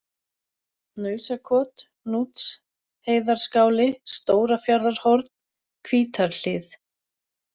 Hnausakot, Húksheiðarskáli, Stóra-Fjarðarhorn, Hvítarhlíð